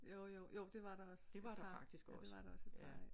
Jo jo jo det var der også ja det var der også